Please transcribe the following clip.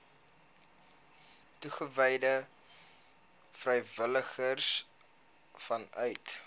toegewyde vrywilligers vanuit